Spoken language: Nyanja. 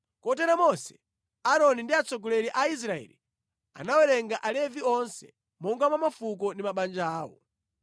Kotero Mose, Aaroni ndi atsogoleri a Israeli anawerenga Alevi onse monga mwa mafuko ndi mabanja awo.